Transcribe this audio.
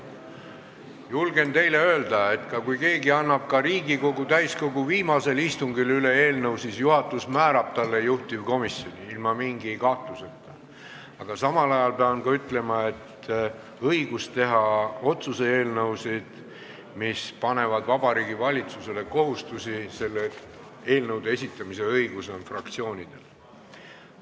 Julgen teile öelda, et kui keegi annab ka Riigikogu täiskogu viimasel istungil eelnõu üle, siis juhatus ilma mingi kahtluseta määrab sellele juhtivkomisjoni, aga samal ajal pean ütlema, et õigus esitada otsuse eelnõusid, mis panevad Vabariigi Valitsusele kohustusi, on fraktsioonidel.